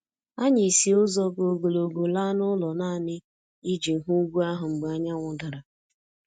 Anyị si ụzọ ka ogologo laa n'ụlọ nanị iji hụ ugwu ahụ mgbe anyanwụ dara